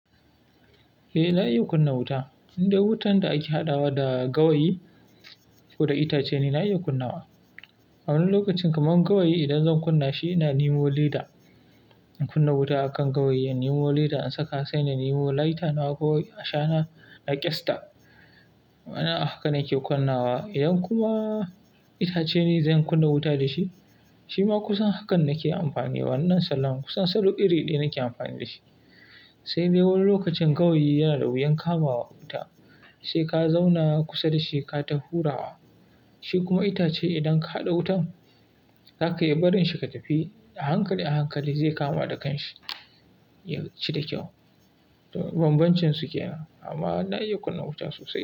Eh, na iya kunna wuta. Indai wutan da ake haɗawa da gawayi ko da itace na iya kunnawa. A wani lokacin kamar gawayi idan zan kunna shi, na nemo lida in kunna wuta a kan gawayi. In nemo lida in saka, saina nemo laita na a gawayi a shana na ƙyasta. Wannan haka nake kunnawa. Idan kuma itace ne zan kunna wuta da shi, shi ma kusan hakan nake amfani. Wannan salon kusan sadau iri ɗaya nake amfani da shi. Sai dai wani lokacin gawayi yana da wuyan kamawa wuta, sai ka zauna kusa da shi ka tafi hurawa. Shi kuma itace idan ka haɗa wutan, za ka yi barin shi ka tafi a hankali a hankali zai kama da kan shi, ya ci da kyau. Banbancin su ke nan amma na iya kunna wuta sosai.